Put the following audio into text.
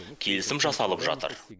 келісім жасалып жатыр